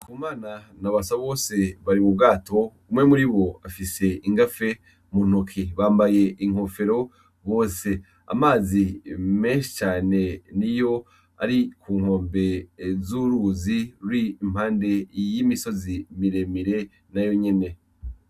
Ndikumana na Basabose bari mûri mu bwato bafis'igafe muntoki bambay'inkofero bose, amazi menshi cane niyo ari kunkombe z'uruzi rur'impande y'imisozi miremire.